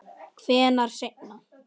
Hvenær seinna?